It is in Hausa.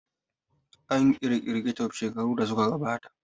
An ƙirƙiri kecup shekaru da suka gabata